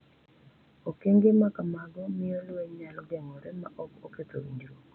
Okenge ma kamago miyo lweny nyalo geng’ore ma ok oketho winjruok,